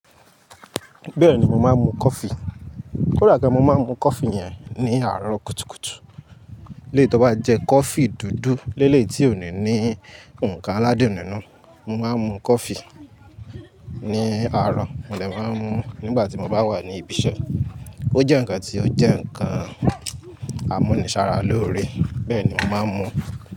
Bẹ́ẹ̀ni mo máa ń mu coffee. Kódà gan mo máa ń mu coffee yẹn ní àárọ̀ kùtùkùtù. Léètí ó bá jẹ́ coffee dúdú, léleyii tí ó ni ní ǹnkan aládun nínú, mo máa ń mu coffee ní àárọ̀, mo dè máa ń mu nígbà tí mo bá wà ní ibi iṣẹ́. Ó jẹ́ ǹnkan tí ó jẹ́ ǹnkan àmúnisára lórí, bẹ́ẹ̀ ni mo máa ń mu.